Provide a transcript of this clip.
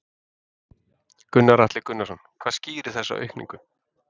Gunnar Atli Gunnarsson: Hvað skýrir þessa aukningu?